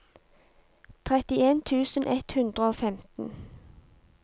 trettien tusen ett hundre og femten